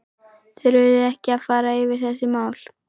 Þurfum við ekki að fara yfir þessi mál?